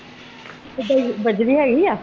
ਬਜਰੀ ਹੇਗੀ ਆ?